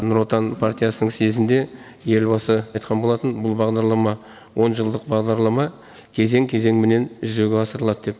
нұр отан партиясының съезінде елбасы айтқан болатын бұл бағдарлама он жылдық бағдарлама кезең кезеңменен жүзеге асырылады деп